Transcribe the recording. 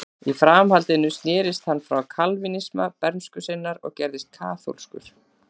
Í framhaldinu snerist hann frá kalvínisma bernsku sinnar og gerðist kaþólskur.